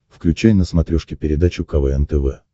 включай на смотрешке передачу квн тв